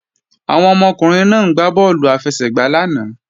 Àwọn ọmọkùnrin náà ń gbá bọ́ọ̀lù àfẹsẹ̀gbá lánàá